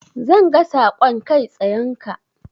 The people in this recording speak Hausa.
Zan ga saƙon kai tsayenka.